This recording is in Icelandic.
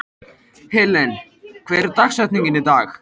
Helen, hver er dagsetningin í dag?